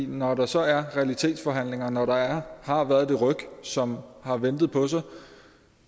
når der så er realitetsforhandlinger når der har været det ryk som har ladet vente på sig